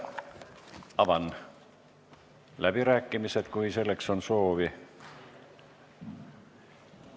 Avan läbirääkimised, kui on kõnesoove.